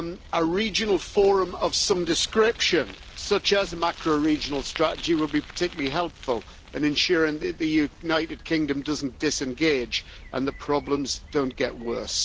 A regional forum of some description, such as a macro regional strategy, would be particularly helpful in ensuring that the United Kingdom doesn't disengage and the problems don't get worse.